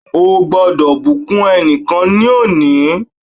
Ó gbọ́dọ̀ bùkún ẹnìkan ní òní.